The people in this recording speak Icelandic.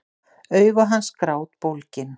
Augu hans grátbólgin.